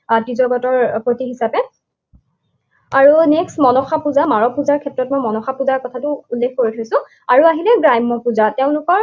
ত্ৰিজগতৰ পতি হিচাপে। আৰু next মনসা পূজা, মাৰল পূজাৰ ক্ষেত্ৰতো মই মনসা পূজাৰ কথাটো উল্লেখ কৰি থৈছোঁ। আৰু আহিলে গ্ৰাম্য পূজা। তেওঁলোকৰ